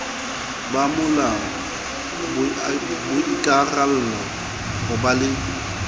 bomolao boikarallo ho ba le